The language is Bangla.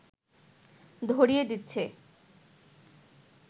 ধরিয়ে দিচ্ছে